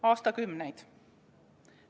Aastakümneid?